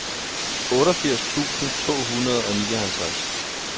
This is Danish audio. otteogfirs tusind to hundrede og nioghalvtreds